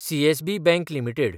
CSB bank limited